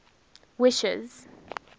wishes